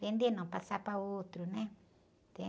Vender não, passar para outro, né?